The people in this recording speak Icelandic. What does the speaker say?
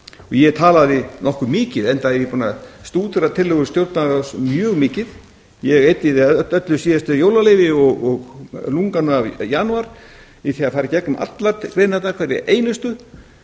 ég talaði nokkuð mikið enda er ég búinn að stúdera tillögur stjórnlagaráðs mjög mikið ég eyddi í það öllu síðastliðinn jólaleyfi og lunganum af janúar í því að fara í gegnum allar greinarnar hverja einustu